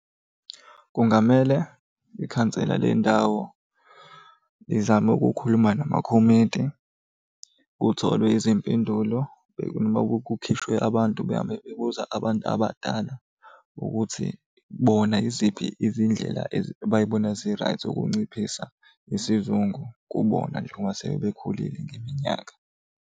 Kungamele ikhansela lendawo lizame ukukhuluma namakhomiti kutholwe izimpendulo noma kukhishwe abantu behambe bebuza abantu abadala ukuthi bona yiziphi izindlela abay'bona zi-right zokunciphisa isizungu kubona njengoba sebekhulile ngeminyaka.